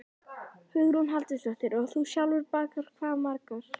Hugrún Halldórsdóttir: Og þú sjálfur bakar hvað margar?